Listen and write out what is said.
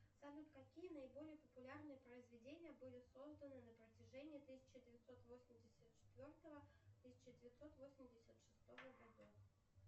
салют какие наиболее популярные произведения были созданы на протяжении тысяча девятьсот восемьдесят четвертого тысяча девятьсот восемьдесят шестого годов